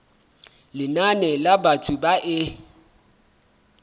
lenane la batho ba e